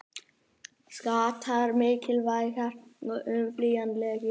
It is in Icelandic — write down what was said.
Skattar mikilvægir og óumflýjanlegir